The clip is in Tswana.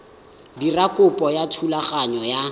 dira kopo ya thulaganyo ya